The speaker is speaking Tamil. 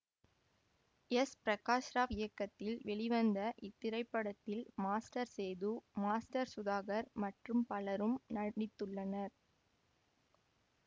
எஸ் பிரகாஷ் ராவ் இயக்கத்தில் வெளிவந்த இத்திரைப்படத்தில் மாஸ்டர் சேது மாஸ்டர் சுதாகர் மற்றும் பலரும் நடித்துள்ளனர்